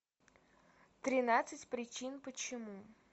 тринадцать причин почему